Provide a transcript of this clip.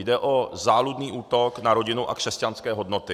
Jde o záludný útok na rodinu a křesťanské hodnoty.